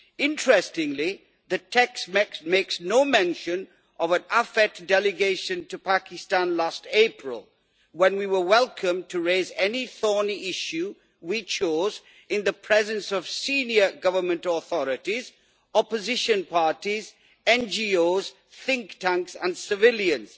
Interestingly, the text makes no mention of the delegation of the Committee on Foreign Affairs to Pakistan last April, when we were welcome to raise any thorny issue we chose in the presence of senior government authorities, opposition parties, NGOs, think tanks and civilians,